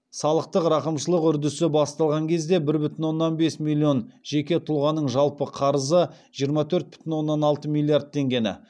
салықтық рақымшылық үрдісі басталған кезде бір бүтін оннан бес миллион жеке тұлғаның жалпы қарызы жиырма төрт бүтін оннан алты миллиард теңгені